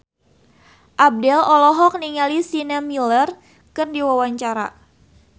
Abdel olohok ningali Sienna Miller keur diwawancara